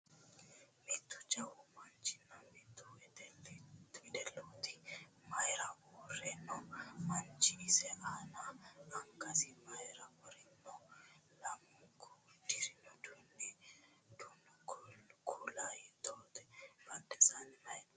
Mittu jawu manchinna mitte wedellite mayiira uurre no? Manchu ise aana angasi mayiira worino? Lamunku uddirino uddano kuula hiittote? Badheensaanni mayi no?